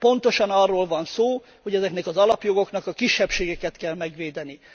Pontosan arról van szó, hogy ezeknek az alapjogoknak a kisebbségeket kell megvédeni.